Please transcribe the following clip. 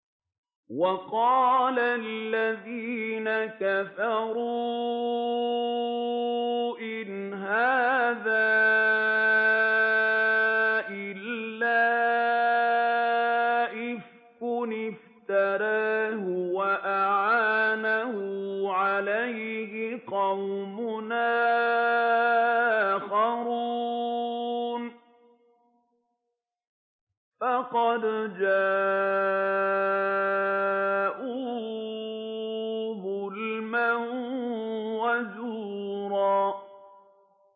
وَقَالَ الَّذِينَ كَفَرُوا إِنْ هَٰذَا إِلَّا إِفْكٌ افْتَرَاهُ وَأَعَانَهُ عَلَيْهِ قَوْمٌ آخَرُونَ ۖ فَقَدْ جَاءُوا ظُلْمًا وَزُورًا